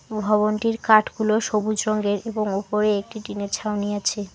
ভবনটির কাঠগুলো সবুজ রঙ্গের এবং ওপরে একটি টিনের ছাউনি আছে।